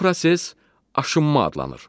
Bu proses aşınma adlanır.